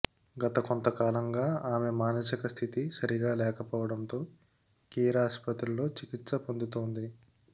గత కొంతకాలంగా ఆమె మానసిక స్థితి సరిగా లేకపోవడంతో కేర్ ఆస్పత్రిలో చికిత్స పొందుతోంది